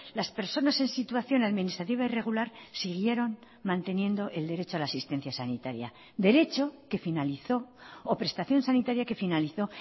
las personas en situación administrativa irregular siguieron manteniendo el derecho a la asistencia sanitaria derecho que finalizó o prestación sanitaria que finalizó